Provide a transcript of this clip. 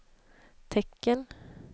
tecken